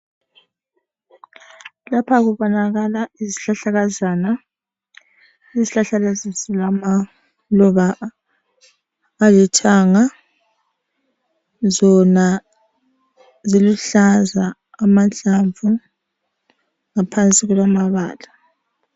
Lapha kubonakala izihlahlakazana. Izihlahla lezi zilamaluba alithanga. Zona ziluhlaza amahlamvu ,ngaphansi kulamabala.